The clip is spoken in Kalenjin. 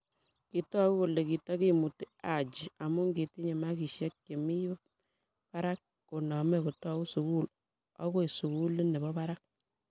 Kitoku kole kitakimutiHaji amu kitinye makishe che mi me barak koname kotou sukul okoi sukulit ne bo barak.